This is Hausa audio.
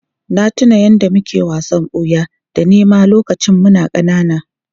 Na tuna yadda muke wasan ɓuya da nema lokacin muna ƙanana.